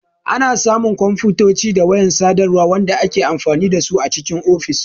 Ana samu kwamfutoci da wayan sadarwa wanda ake amfani dasu a cikin ofis.